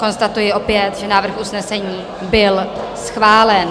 Konstatuji opět, že návrh usnesení byl schválen.